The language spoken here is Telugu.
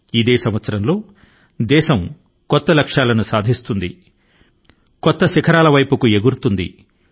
ఈ సంవత్సరం దేశం నవీన లక్ష్యాల ను సాధిస్తుంది అన్ని క్రొత్త రెక్కల తో నూతన శిఖరాల కు చేరుకొంటుంది